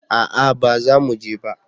a'a ba za mu je ba